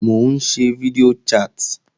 Mò ń ṣe fídíò chat